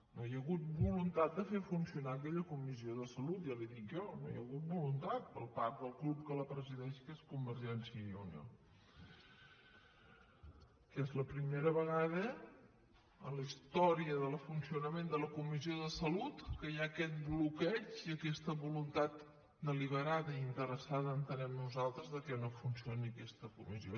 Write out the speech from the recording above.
no hi ha hagut voluntat de fer funcionar aquella comissió de salut ja li ho dic jo no hi ha hagut voluntat per part del grup que la presideix que és convergència i unió que és la primera vegada a la història del funcionament de la comissió de salut que hi ha aquest bloqueig i aquesta voluntat deliberada i interessada entenem nosaltres que no funcioni aquesta comissió